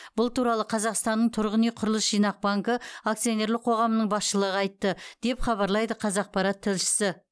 бұл туралы қазақстанның тұрғын үй құрылыс жинақ банкі акционерлік қоғамының басшылығы айтты деп хабарлайды қазақпарат тілшісі